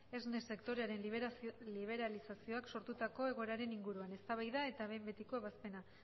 esne sektorearen liberalizazioak sortutako egoeraren inguruan eztabaida eta behin betiko ebazpena